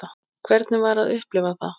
Hvernig var að upplifa það?